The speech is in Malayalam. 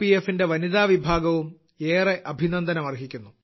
എഫിന്റെ വനിതാവിഭാഗവും ഏറെ അഭിനന്ദനം അർഹിക്കുന്നു